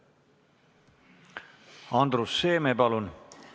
Andrus Seeme, palun!